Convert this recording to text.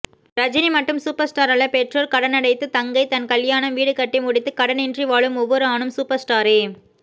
ரஜினி மட்டும் சூப்பர் ஸ்டாரல்ல பெற்றோர் கடனடைத்து தங்கை தன்கல்யாணம் வீடுகட்டிமுடித்து கடனின்றி வாழும் ஒவ்வொருஆணும் சூப்பர் ஸ்டாரே